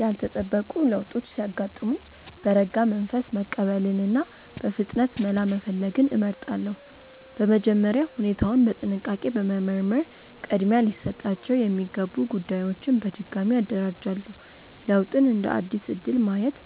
ያልተጠበቁ ለውጦች ሲያጋጥሙኝ በረጋ መንፈስ መቀበልንና በፍጥነት መላ መፈለግን እመርጣለሁ። በመጀመሪያ ሁኔታውን በጥንቃቄ በመመርመር ቅድሚያ ሊሰጣቸው የሚገቡ ጉዳዮችን በድጋሚ አደራጃለሁ። ለውጥን እንደ አዲስ እድል ማየት